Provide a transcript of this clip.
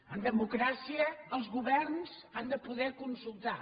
en democràcia els governs han de poder consultar